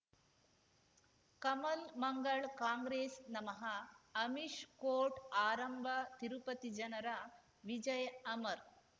ಕಮಲ್ ಮಂಗಳ್ ಕಾಂಗ್ರೆಸ್ ನಮಃ ಅಮಿಷ್ ಕೋರ್ಟ್ ಆರಂಭ ತಿರುಪತಿ ಜನರ ವಿಜಯ್ ಅಮರ್